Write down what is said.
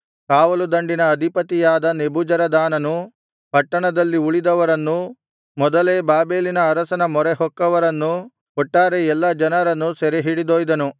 ಕಾವಲುದಂಡಿನ ಅಧಿಪತಿಯಾದ ನೆಬೂಜರದಾನನು ಪಟ್ಟಣದಲ್ಲಿ ಉಳಿದವರನ್ನೂ ಮೊದಲೇ ಬಾಬೆಲಿನ ಅರಸನ ಮರೆಹೊಕ್ಕವರನ್ನೂ ಒಟ್ಟಾರೆ ಎಲ್ಲಾ ಜನರನ್ನು ಸೆರೆಹಿಡಿದೊಯ್ದನು